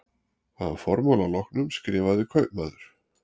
Að formála loknum skrifaði kaupmaður